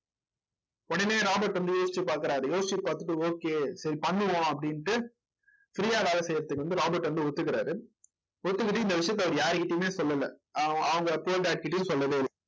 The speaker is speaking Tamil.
உடனே ராபர்ட் வந்து யோசிச்சு பாக்குறாரு. யோசிச்சு பாத்துட்டு okay சரி பண்ணுவோம் அப்படின்னுட்டு free யா வேலை செய்யறதுக்கு வந்து ராபர்ட் வந்து ஒத்துக்கிறாரு ஒத்துக்கிட்டு இந்த விஷயத்த அவரு யாருக்கிட்டயுமே சொல்லல. அவங்க கிட்டயும் சொல்லவே இல்ல.